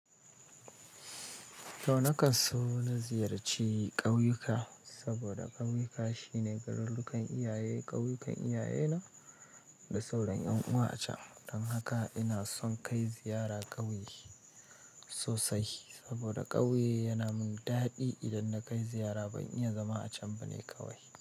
To na kan so na ziyarci ƙauyuka, saboda ƙauyuka shine garurrukan iyaye, ƙauyukan iyaye na da sauran ƴan'uwa a can. Don haka ina son kai ziyara ƙauye sosai, saboda ƙauye yana min daɗi idan na kai ziyara. Ban iya zama a can bane kawai.